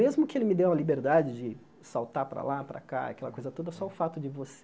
Mesmo que ele me dê uma liberdade de saltar para lá, para cá, aquela coisa toda, só o fato de